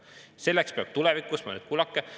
Selleks peab tulevikus [Ja nüüd kuulake!